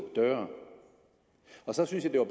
døre så synes jeg det